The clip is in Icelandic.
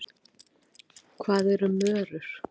Hvað eru mörur?